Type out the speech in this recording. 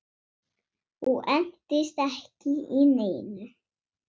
Og entist ekki í neinu.